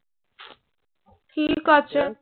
ঠিক আছে।